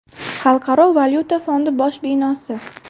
Xalqaro valyuta fondi bosh binosi.